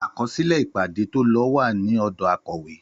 Àkọsílẹ ìpàdé tólo wà ní òdò Akòwé